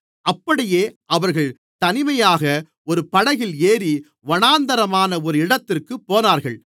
அப்படியே அவர்கள் தனிமையாக ஒரு படகில் ஏறி வனாந்திரமான ஒரு இடத்திற்குப் போனார்கள்